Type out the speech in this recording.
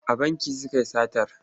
A banki suka yi satar.